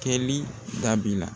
Kɛli dabila.